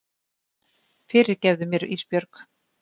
Fyrirgefðu mér Ísbjörg.